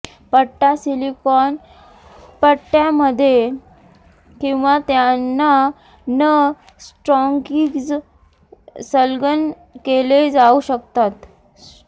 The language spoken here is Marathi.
पट्टा सिलिकॉन पट्ट्यामध्ये किंवा त्यांना न स्टॉकिंग्ज संलग्न केले जाऊ शकतात